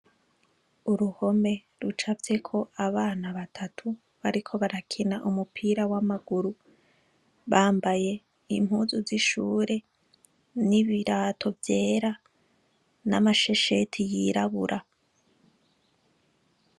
Uruhome ruca vyeko abana batatu bariko barakena umupira w'amaguru bambaye impuzu z'ishure n'ibirato vyera n'amashesheti yirabura.